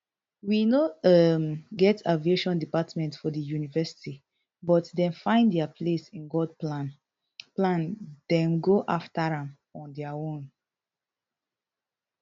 we no um get aviation department for di university but dem find dia place in god plan plan dem go afta am on dia um own